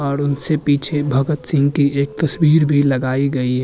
और उनसे पिछे भगत सिंह की एक तसवीर भी लगाई गई है।